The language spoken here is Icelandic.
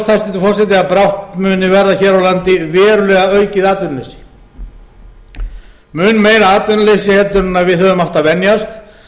hæstvirtur forseti að brátt muni verða hér á landi verulega aukið atvinnuleysi mun meira atvinnuleysi heldur en við höfum átt að venjast